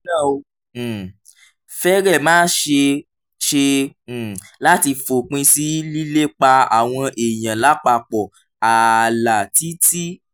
nítorí náà ó um fẹ́rẹ̀ẹ́ má ṣeé ṣe um láti fòpin sí lílépa àwọn èèyàn lápapọ̀ ààlà títí